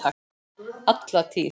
Alla tíð.